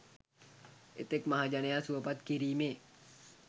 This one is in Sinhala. එතෙක් මහජනයා සුවපත් කිරීමේ